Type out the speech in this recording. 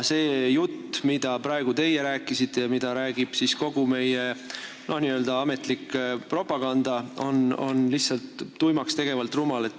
See jutt, mida rääkisite praegu teie ja mida räägib kogu meie n-ö ametlik propaganda, on lihtsalt tuimaks tegevalt rumal.